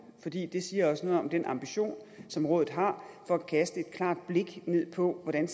fordi det siger også noget om den ambition som rådet har for at kaste et klart blik ned på hvordan